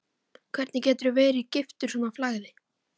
Hvernig geturðu verið giftur svona flagði?